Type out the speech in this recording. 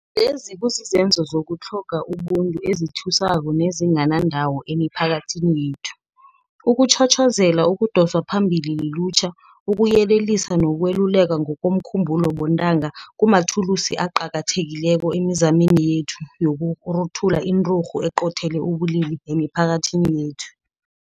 Lezi kuzizenzo zokutlhoga ubuntu ezithusako nezinganandawo emiphakathini yethu. Ukutjhotjhozela okudoswa phambili lilutjha, ukuyelelisa nokwelulekwa ngokomkhumbulo bontanga kumathulusi aqakathekileko emizameni yethu yokuruthula inturhu eqothele ubulili emiphakathini yekhethu.